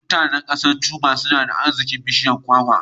Mutanan ƙasar Cuba nada arzikin bishiyar kwakwa